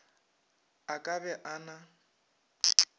a ka be a na